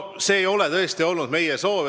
See ei ole tõesti olnud meie soov.